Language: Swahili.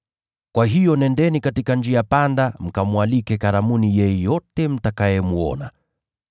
Kwa hiyo nendeni katika njia panda mkamwalike karamuni yeyote mtakayemwona.’